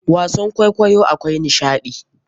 Wasan kwaikwayo akwai nishaɗi.